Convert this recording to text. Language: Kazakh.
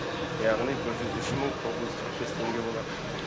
яғни бір жүз үш мың тоғыз жүз қырық бес теңге болады